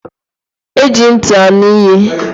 Eji nti anu ihe.